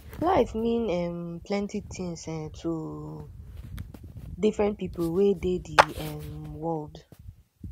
life mean um plenty things um to different pipo wey dey di um world